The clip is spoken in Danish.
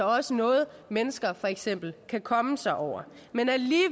også noget mennesker for eksempel kan komme sig over